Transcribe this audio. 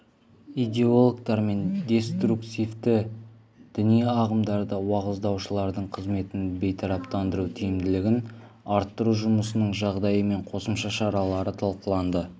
идеологтар мен деструктивті діни ағымдарды уағыздаушылардың қызметін бейтараптандыру тиімділігін арттыру жұмысының жағдайы мен қосымша шаралары талқыланды